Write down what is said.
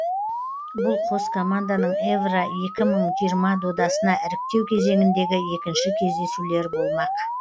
бұл қос команданың евро екі мың жиырма додасына іріктеу кезеңіндегі екінші кездесулер болмақ